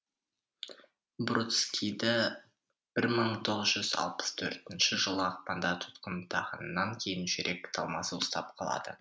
бродскийді бір мың тоғыз жүз алпыс төртінші жылы ақпанда тұтқындағаннан кейін жүрек талмасы ұстап қалады